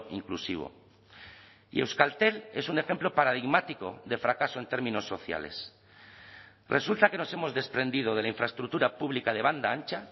inclusivo y euskaltel es un ejemplo paradigmático de fracaso en términos sociales resulta que nos hemos desprendido de la infraestructura pública de banda ancha